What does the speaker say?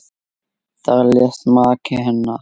Þar lést maki hennar.